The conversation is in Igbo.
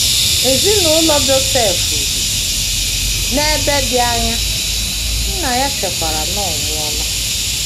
Ezinụlọ Josef bi n’ebe dị anya, nna ya chekwara na ọ nwụọla.